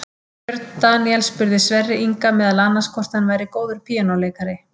Björn Daníel spurði Sverri Inga meðal annars hvort hann væri góður píanóleikari.